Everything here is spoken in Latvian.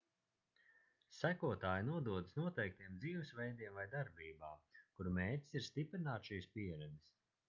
sekotāji nododas noteiktiem dzīvesveidiem vai darbībām kuru mērķis ir stiprināt šīs pieredzes